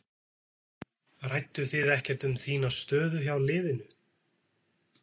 Rædduð þið ekkert um þína stöðu hjá liðinu?